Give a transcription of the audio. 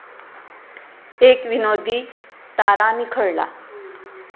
एक 'विनोदी' तारा निखळला